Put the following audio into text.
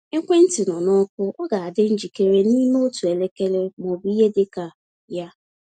Ekwentị nọ na ọkụ; ọ ga-adị njikere n’ime otu elekere ma ọ bụ ihe dị ka ya.